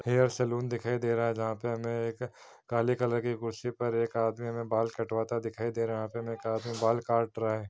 हेर salon दिखाई दे रहा है जहा पे हमे एक काले कलर की कुर्सी पर एक आदमी हमे बाल कटवाता दिखाई दे रहा है। यहा पे एक आदमी बाल काट रहा है।